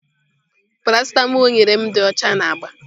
Parasịtamol o nyere m dị ọcha na agba.